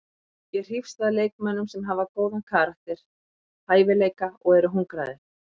Ég hrífst að leikmönnum sem hafa góðan karakter, hæfileika og eru hungraðir.